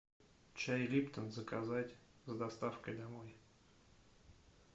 чай липтон заказать с доставкой домой